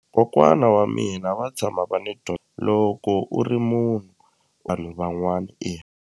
Kokwana wa mina va tshama va ni loko u ri munhu vanhu van'wani .